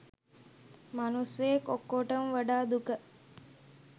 මනුස්සයෙක් ඔක්කොටම වඩා දුක